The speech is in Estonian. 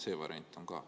See variant on ka.